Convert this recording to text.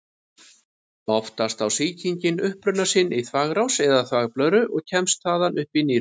Oftast á sýkingin uppruna sinn í þvagrás eða þvagblöðru og kemst þaðan upp í nýrun.